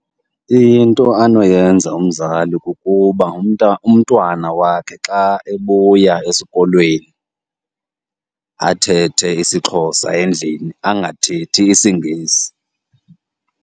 Into anoyenza umzali kukuba umntwana wakhe xa ebuya esikolweni athethe isiXhosa endlini, angathethi isiNgesi.